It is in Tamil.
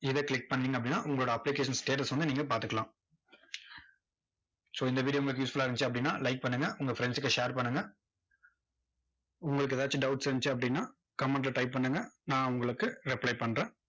இதை click பண்ணீங்க அப்படின்னா, உங்களோட application status வந்து நீங்க பாத்துக்கலாம். so இந்த video உங்களுக்கு useful ஆ இருந்துச்சு அப்படின்னா like பண்ணுங்க. உங்க friends க்கு share பண்ணுங்க. உங்களுக்கு எதாச்சும் doubts இருந்துச்சு அப்படின்னா comment ல type பண்ணுங்க. நான் உங்களுக்கு reply பண்றேன்.